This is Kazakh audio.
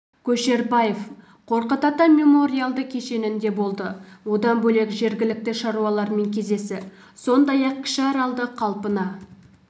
көшербаев қорқыт ата мемориалды кешенінде болды одан бөлек жергілікті шаруалармен кездесті сондай-ақ кіші аралды қалпына